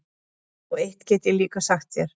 Og eitt get ég líka sagt þér,